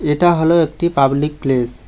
এটা হল একটি পাবলিক প্লেস ।